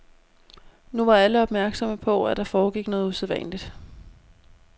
Nu var alle opmærksomme på, at der foregik noget usædvanligt.